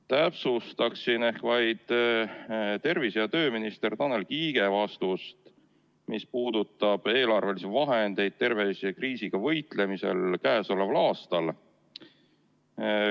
Täpsustan vaid tervise- ja tööminister Tanel Kiige vastust, mis puudutab eelarvelisi vahendeid tervisekriisiga võitlemisel käesoleval aastal.